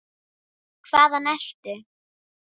Hvaðan ertu?